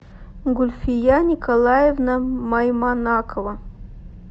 гульфия николаевна майманакова